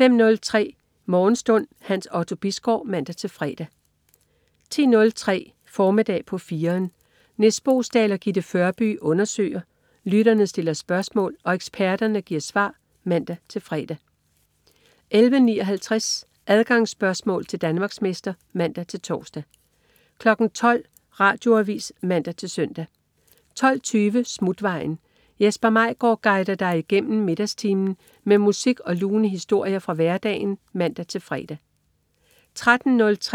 05.03 Morgenstund. Hans Otto Bisgaard (man-fre) 10.03 Formiddag på 4'eren. Nis Boesdal og Gitte Førby undersøger, lytterne stiller spørgsmål og eksperterne giver svar (man-fre) 11.59 Adgangsspørgsmål til Danmarksmester (man-tors) 12.00 Radioavis (man-søn) 12.20 Smutvejen. Jesper Maigaard guider dig igennem middagstimen med musik og lune historier fra hverdagen (man-fre)